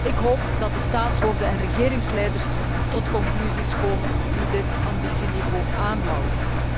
Ik hoop dat de staatshoofden en regeringsleiders tot conclusies komen die dit ambitieniveau aanhouden.